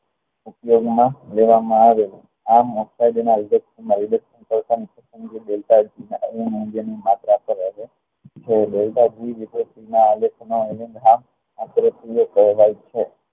ઉપયોગ માં લેવા માં આવે આ